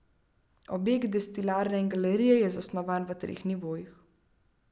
Objekt destilarne in galerije je zasnovan v treh nivojih.